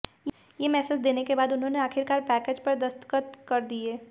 ये मैसेज देने के बाद उन्होंने आखिरकार पैकेज पर दस्तखत कर दिए